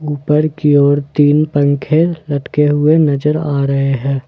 ऊपर की ओर तीन पंखे लटके हुए नजर आ रहे हैं ।